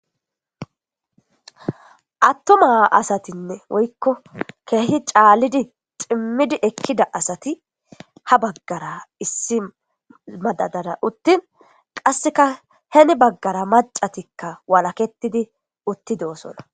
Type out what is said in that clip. attuma asatinne woykko keehi caallidi ximmidi ekkida asati ha baggara issi madadara uttin qasseka heni baggara macatikka walaketidi uttidoosona